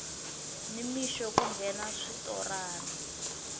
ni mixo ku nghena switorana